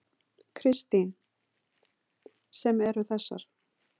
Kristín: Sem eru þessar?